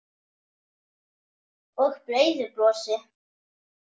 Og breiðu brosi.